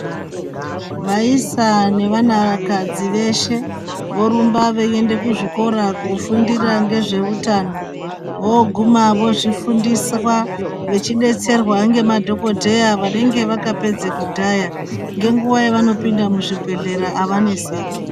Vaisa nevanakadzi veshe vorumba veinda kuzvikora kofundira ngesveutano voguna vofundiswa nemadhokodheya anenge akapedza kudhaya ngenguwa yavanopinda muzvibhehlera avaneseki.